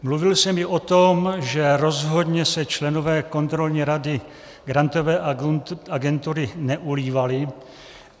Mluvil jsem i o tom, že rozhodně se členové kontrolní rady Grantové agentury neulívali.